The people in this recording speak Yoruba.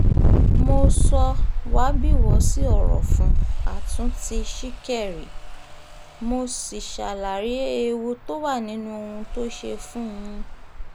mo sọ wábiwọ́sí ọ̀rọ̀ fún àtúntì ṣìkẹ̀rì mo sì ṣàlàyé ewu tó wà nínú ohun tó ṣe yìí fún un